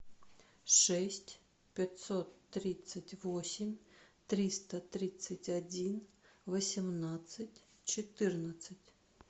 шесть пятьсот тридцать восемь триста тридцать один восемнадцать четырнадцать